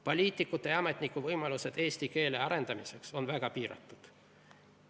Poliitikute ja ametnike võimalused eesti keele arendamiseks on väga piiratud.